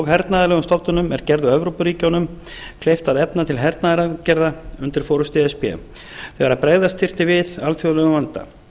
hernaðarlegum stofnunum er gerðu evrópuríkjunum kleift að efna til hernaðaraðgerða undir forustu e s b þegar bregðast þurfti við alþjóðlegum vanda